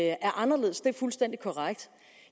er anderledes det er fuldstændig korrekt